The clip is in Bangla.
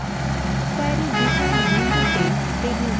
ক্যোয়ারী ডিজাইন window টেবিল যোগ করা